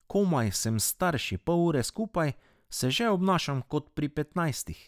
Komaj sem s starši pol ure skupaj, se že obnašam kot pri petnajstih.